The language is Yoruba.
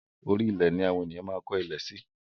Orí ilẹ̀ ni awón ènìyàn máa ń kó ilé si